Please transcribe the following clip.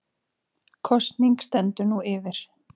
Kosning stendur nú yfir